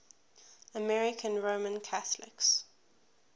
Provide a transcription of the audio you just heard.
american roman catholics